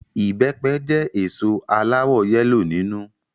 Ìbẹpẹ jẹ́ èso aláwọ yẹ́lò nínú